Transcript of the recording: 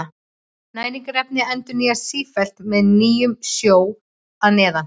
Næringarefnin endurnýjast sífellt með nýjum sjó að neðan.